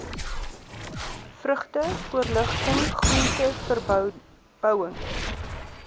vrugte voorligting groenteverbouing